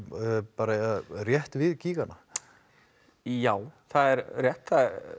bara rétt við gígana já það er rétt